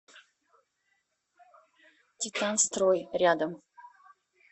титан строй рядом